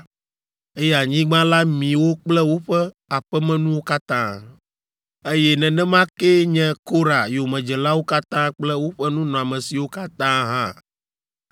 eye anyigba la mi wo kple woƒe aƒemenuwo katã, eye nenema kee nye Korah yomedzelawo katã kple woƒe nunɔamesiwo katã hã.